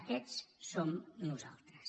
aquests som nosaltres